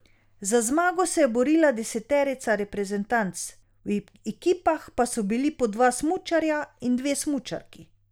Za zmago se je borila deseterica reprezentanc, v ekipah pa so bili po dva smučarja in dve smučarki.